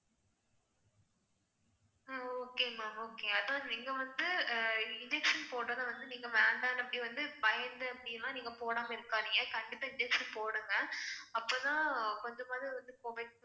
அஹ் okay ma'am okay அதான் நீங்க வந்து injection போடறத வந்து நீங்க வேண்டாம் அப்படிவந்து பயந்து அப்படிலாம் நீங்க போடாம இருக்காதீங்க. கண்டிப்பா injection போடுங்க. அப்பதான் கொஞ்சமாவது வந்து இப்போதைக்கு